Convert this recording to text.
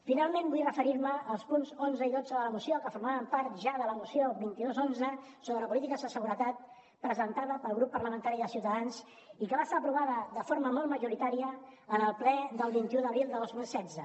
finalment vull referir me als punts onze i dotze de la moció que formaven part ja de la moció vint dos xi sobre polítiques de seguretat presentada pel grup parlamentari de ciutadans i que va estar aprovada de forma molt majoritària en el ple del vint un d’abril de dos mil setze